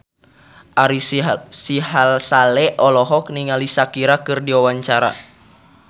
Ari Sihasale olohok ningali Shakira keur diwawancara